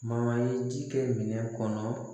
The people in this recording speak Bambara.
Ma ye ji kɛ minɛ kɔnɔ